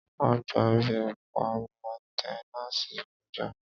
A gba ibi ẹ̀ka mẹ́nténàsì kọ̀já